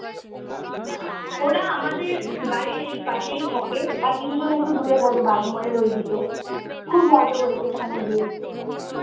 ওরা আমাদের বাইরেই পাশেই থাকে আর কিছু জন একটু দূরে থাকে বাগমারীর ওই দিকে খুব মজা করেছি ওখানে গিয়ে